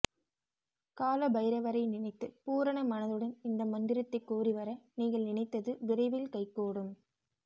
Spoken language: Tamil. கால பைரவரை நினைத்து பூரண மனதுடன் இந்த மந்திரத்தை கூறிவர நீங்கள் நினைத்தது விரைவில் கைகூடும்